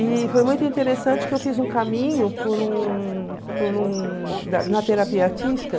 E foi muito interessante que eu fiz um caminho por um por um na terapia artística.